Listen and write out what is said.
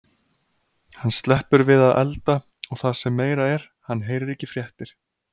Hann sleppur við að elda og það sem meira er, hann heyrir ekki fréttir.